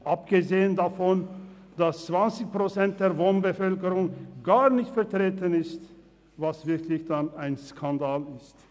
Abgesehen davon, dass 20 Prozent der Wohnbevölkerung gar nicht vertreten ist, was wirklich dann ein Skandal ist!